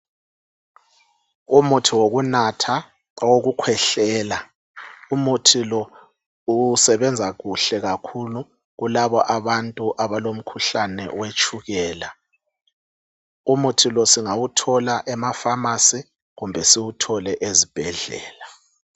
Umuthi wokunatha owokukhwehlela umuthi lo usebenza kuhle kakhulu kulabo abantu abalomkhuhlane wetshukela, umuthi lo singawuthola emafamasi kumbe siwuthole ezibhedlela.